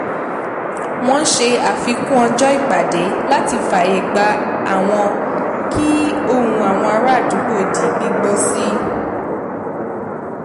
wọn ṣe àfikún ọjọ́ ìpàdé láti fààyè gba àwọn kí ohun àwọn ará àdúgbò di gbígbọ́ sí